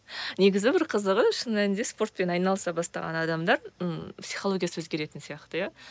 негізі бір қызығы шын мәнінде спортпен айналыса бастаған адамдар ммм психологиясы өзгеретін сияқты иә